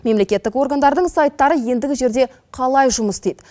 мемлекеттік органдардың сайттары ендігі жерде қалай жұмыс істейді